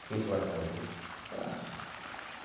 O que que o senhor vai fazer?